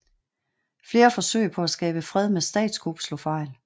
Flere forsøg på at skabe fred med statskup slog fejl